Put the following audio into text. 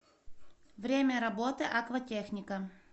время работы акватехника